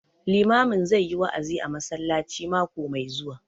Limamin zai yi wa'azi a masallaci mako mai zuwa